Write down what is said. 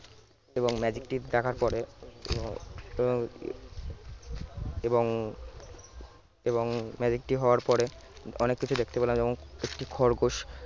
এবং megic টি দেখার পরে এবং এবং magic টি হওয়ার পরে অনেক কিছু দেখতে পেলাম এবং একটি খরগোশ